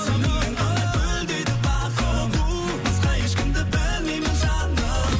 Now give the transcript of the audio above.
сенімен ғана гүлдейді бағым басқа ешкімді білмеймін жаным